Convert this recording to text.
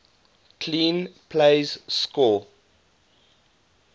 clean plays score